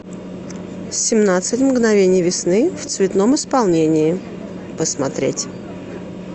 семнадцать мгновений весны в цветном исполнении посмотреть